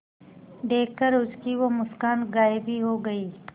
देखकर उसकी वो मुस्कान गायब ही हो गयी